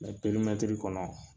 perimɛtiri kɔnɔ